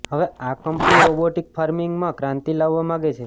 હવે આ company robotic ફાર્મિંગમાં ક્રાંતિ લાવવા માગે છે